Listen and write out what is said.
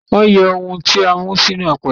Wọ́n yẹ ohun tí a mú sínú apẹ̀rẹ̀ wo